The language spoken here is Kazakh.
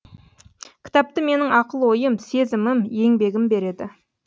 кітапты менің ақыл ойым сезімім еңбегім береді